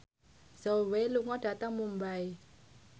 Zhao Wei lunga dhateng Mumbai